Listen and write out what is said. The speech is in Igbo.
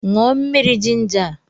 Ṅụọ mmiri jinja a!